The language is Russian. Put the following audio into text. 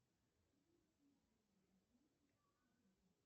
афина набери контакт номер один